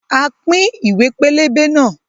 A pín ìwé pélébé náà